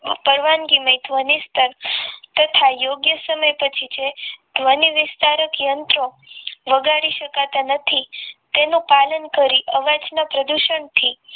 પરવાનગી ને ધ્વની સ્થર તથા યોગ્ય સમય પછી જે ધ્વનિ વિસ્તારક યંત્રો વગાડી શકાતા નથી તેનું પાલન કરી અવાજના પ્રદૂષણ થી